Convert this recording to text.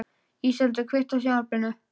Íseldur, kveiktu á sjónvarpinu.